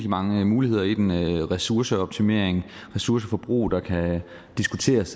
mange muligheder i den ressourceoptimering ressourceforbrug det kan diskuteres